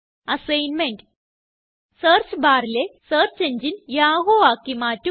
assignment search barലെ search എങ്ങിനെ Yahoo ആക്കി മാറ്റുക